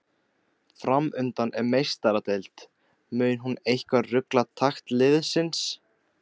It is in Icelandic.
Framundan er Meistaradeild, mun hún eitthvað rugla takt liðsins?